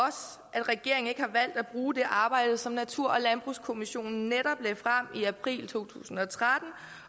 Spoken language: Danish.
at regeringen ikke har valgt at bruge det arbejde som natur og landbrugskommissionen netop lagde frem i april to tusind og tretten